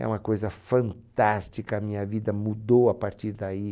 É uma coisa fantástica, a minha vida mudou a partir daí.